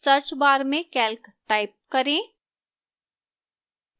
search bar में calc type करें